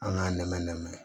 An k'a nɛmɛ nɛmɛ